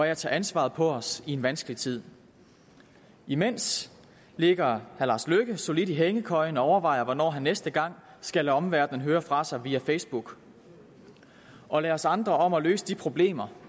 at tage ansvaret på os i en vanskelig tid imens ligger herre lars løkke rasmussen solidt i hængekøjen og overvejer hvornår han næste gang skal lade omverdenen høre fra sig via facebook og lader os andre om at løse de problemer